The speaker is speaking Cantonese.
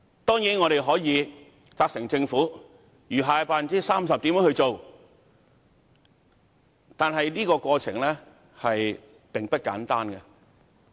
當然，我們可以責成政府處理餘下的 30%， 但這過程並不簡單。